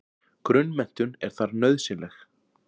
Grunnmenntun er þar nauðsynleg.